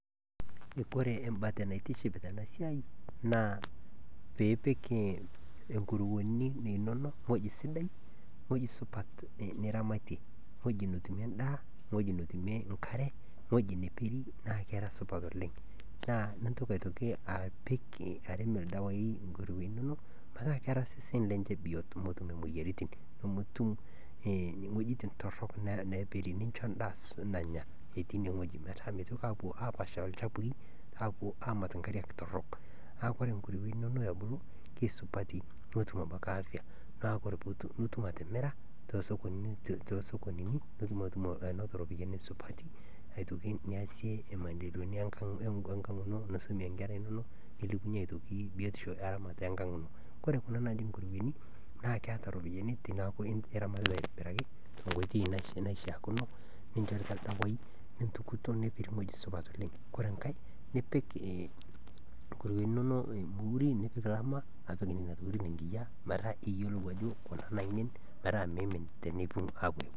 Ore mbate naitiship Tena siai naa pee epik nkuruwe enono ewueji sidai ewueji supat niramatie ewueji netumie endaa ewueji netumie enkare ewueji nepiki naa kisupat oleng naa entoki apik arem ildawai nkuruwe enono metaa keeta seseni lenye bioto nemetum ewuejitin torok napiri endaa enye nanya etii enewueji metaa mitoki ninche apuo Anya apash ilchafui apuo amat enkariak torok neeku ore nkuruwe enono ebulu kisupati netum afya nitum atimira too sokonini nitum eropiani supati aitoki niasie maendeleoni enkag eno nisumie enkera enono nilepunye biotisho aitoki eramat enkag eno ore Kuna naji nkuruwe naa keeta eropiani teneeku eramatitae aitobiraki tenkoitoi naishaa neeku entukito nipik ildawai nisuj ore enkae nipik Nena tokitin enkiyia metaa mimin